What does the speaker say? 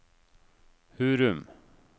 Hurum